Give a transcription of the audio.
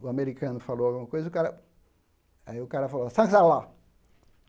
O americano falou alguma coisa e o cara... Aí o cara falou,